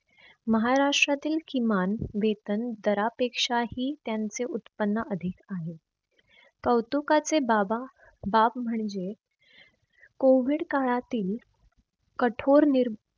महाष्ट्रातील किमान वेतन दरपेक्षा ही त्यांचे उत्पन्न अधिक आहे. कौतुकाचे बाबा बाब म्हणजे कोविड काळातील कठोर नीर